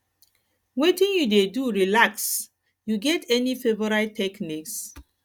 wetin you dey do relax you get any favorite techniques